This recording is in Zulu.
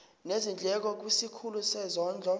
nezindleko kwisikhulu sezondlo